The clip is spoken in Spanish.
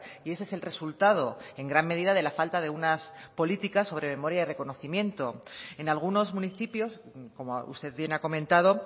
y ese es el resultado en gran medida de la falta de unas políticas sobre memoria y reconocimiento en algunos municipios como usted bien ha comentado